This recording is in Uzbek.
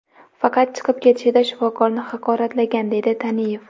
Faqat chiqib ketishida shifokorni haqoratlagan, deydi Taniyev.